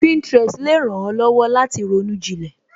Pinterest le ran ó lọ́wọ́ láti ronú jinlẹ